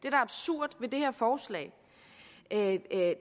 er absurd ved det her forslag er at